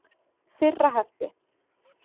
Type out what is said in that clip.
Fyrra hefti.